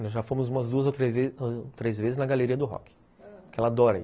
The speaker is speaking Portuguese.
Nós já fomos umas duas ou três vezes na Galeria do Rock, ãh, que ela adora ir.